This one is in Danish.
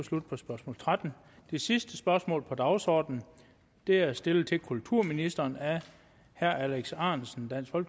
slut på spørgsmål trettende det sidste spørgsmål på dagsordenen er er stillet til kulturministeren af herre alex ahrendtsen fra